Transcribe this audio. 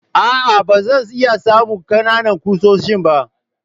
A'a, ba zan iya samun ƙanana ƙusoshin ba.